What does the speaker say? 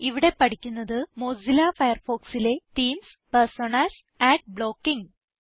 ഇവിടെ പഠിക്കുന്നത് മൊസില്ല Firefoxലെ തീംസ് പെർസോണാസ് അഡ് ബ്ലോക്കിങ്